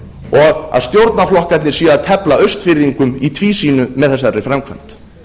og að stjórnarflokkarnir séu að tefla austfirðingum í tvísýnu með þessari framkvæmd